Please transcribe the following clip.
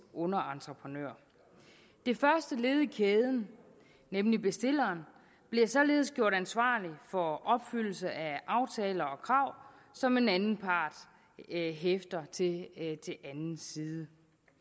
underentreprenør det første led i kæden nemlig bestilleren bliver således gjort ansvarlig for opfyldelse af aftaler og krav som en anden part hæfter til anden side